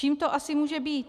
Čím to asi může být?